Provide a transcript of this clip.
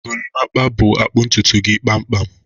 Gorimpa bu-akpụ ntutu gị kpamkpam